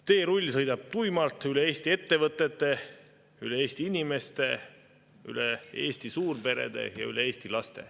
Teerull sõidab tuimalt üle Eesti ettevõtete, üle Eesti inimeste, üle Eesti suurperede ja üle Eesti laste.